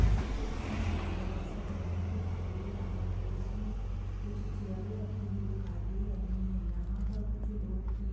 picture में एक बड़ा-सा ग्राउंड दिखाई दे रहा है जिसमें कुछ चेयरे रखी हुई दिखाई दे रही हैं| यहां पर कुछ लोग भी--